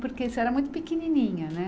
Porque você era muito pequenininha, né?